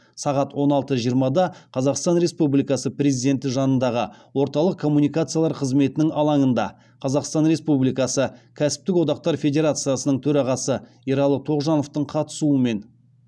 сағат он алты жиырмада қазақстан республикасы президенті жанындағы орталық коммуникациялар қызметінің алаңында қазақстан республикасы кәсіптік одақтар федерациясының төрағасы ералы тоғжановтың қатысуымен